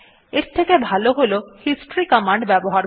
এর থেকে ভালো হল হিস্টরি কমান্ড ব্যবহার করা